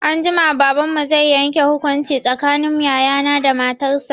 Anjima, Baban mu zai yanke hukunci tsakanin yaya na da matar shi.